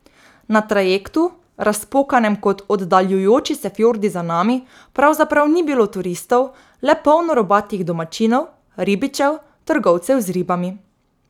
Na trajektu, razpokanem kot oddaljujoči se fjordi za nami, pravzaprav ni bilo turistov, le polno robatih domačinov, ribičev, trgovcev z ribami.